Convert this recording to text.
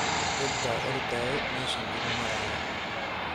Dad ba oordaye meshan igumaraya.